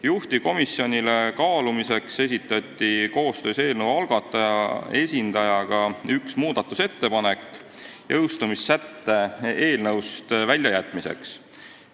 Juhtivkomisjonile kaalumiseks esitati koostöös eelnõu algataja esindajaga üks muudatusettepanek jõustumissätte eelnõust väljajätmiseks.